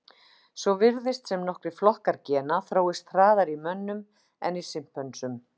Svo virðist sem nokkrir flokkar gena þróist hraðar í mönnum en í simpönsum.